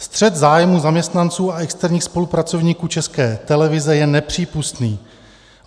Střet zájmů zaměstnanců a externích spolupracovníků České televize je nepřípustný.